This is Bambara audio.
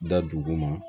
Da dugu ma